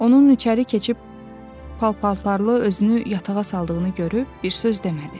Onun içəri keçib pal-paltarlı özünü yatağa saldığını görüb bir söz demədi.